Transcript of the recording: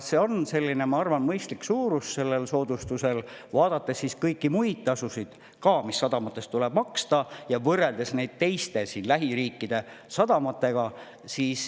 See on selline, ma arvan, mõistlik suurus sellel soodustusel, kui vaadata kõiki muid tasusid ka, mis sadamates tuleb maksta, ja võrrelda neid lähiriikide sadamatega.